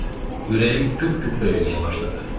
Ürəyim güp-güp döyməyə başladı.